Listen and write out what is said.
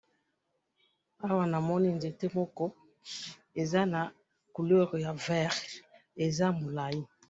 awa namoni nzete moko eza na couleur ya vert eza molayi